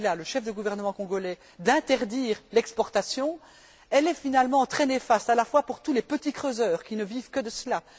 Kabila, le chef du gouvernement congolais, d'interdire l'exportation est finalement très néfaste, notamment pour tous les petits creuseurs qui ne vivent que de cela.